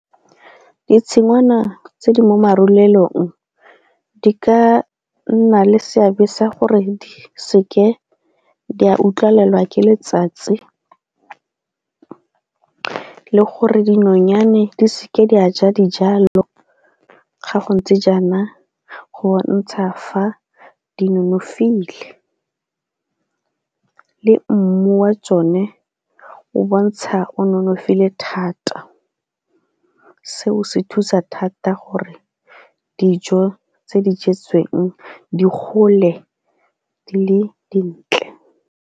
Ditshingwana tse di mo marulelong di ka nna le seabe sa gore di seke di a utlwalela ke letsatsi gore dinonyane di seke di a ja dijalo ga go ntse jaana go bontsha fa di nonofile le mmu wa tsone o bontsha o nonofile thata. Seo se thusa thata gore dijo tse di jetsweng di gole le dintle.